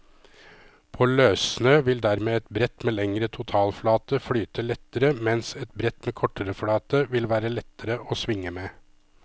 På løssnø vil dermed et brett med lengre totalflate flyte lettere, mens et brett med kortere flate vil være lettere å svinge med.